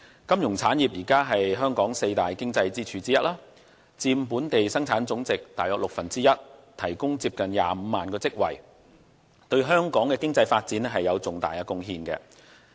金融產業是香港四大經濟支柱之一，佔本地生產總值約六分之一，提供接近25萬個職位，對香港的經濟發展有重大貢獻。